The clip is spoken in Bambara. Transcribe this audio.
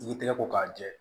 I tɛgɛ ko k'a jɛ